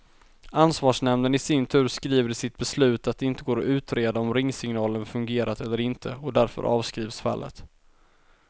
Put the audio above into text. Ansvarsnämnden i sin tur skriver i sitt beslut att det inte går att utreda om ringsignalen fungerat eller inte, och därför avskrivs fallet.